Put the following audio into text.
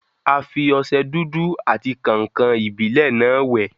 A fi ọsẹ dúdú àti kàǹkàn-ìbílẹ́ náà wẹ̀.